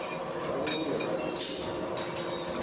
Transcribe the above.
vha vhulunge rasithi uri vha